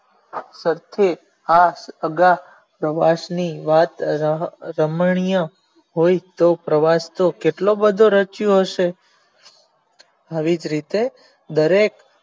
આ પછી અગા પ્રવાસ નું રમણીય હોય તો પ્રવાસ કેટલો બધો રચિયો હશે આવી જ રીતે દરેક